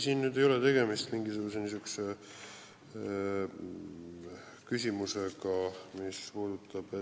Siin ei ole tegemist mingisuguse niisuguse küsimusega, mis puudutab ...